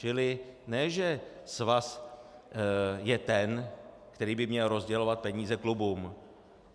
Čili ne že svaz je ten, který by měl rozdělovat peníze klubům.